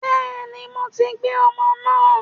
Bẹ́ẹ̀ni, mo ti gbé ọmọ náà